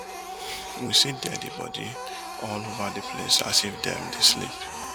we see deadi body all ova di place as if dem dey sleep